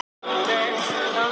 Ég heyri hans.